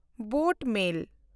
boat ᱢᱮᱞ